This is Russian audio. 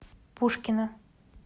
пушкино